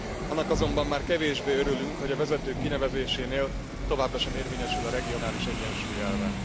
Annak azonban már kevésbé örülünk, hogy a vezetők kinevezésénél továbbra sem érvényesül a regionális egyensúly elve.